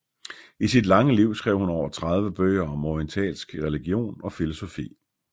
I sit lange liv skrev hun over tredive bøger om orientalsk religion og filosofi